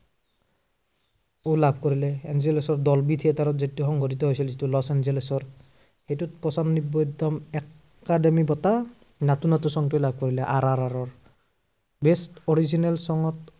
লাভ কৰিলে। এঞ্জেলেচৰ Dolby theatre ত যিটো সংঘটিত হৈছিল লচ এঞ্জেলেচৰ, সেইটোত পঞ্চান্নব্বৈতম একাডেমী বঁটা নাটো নাটো song টোৱে লাভ কৰিলে আৰ আৰ আৰৰ। best original song ত